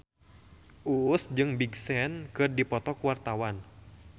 Uus jeung Big Sean keur dipoto ku wartawan